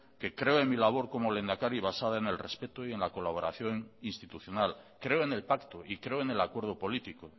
que creo en mi labor como lehendakari basada en el respeto y en la colaboración institucional creo en el pacto y creo en el acuerdo político